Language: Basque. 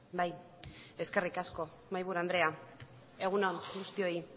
bai eskerrik asko mahaiburu andrea egun on guztioi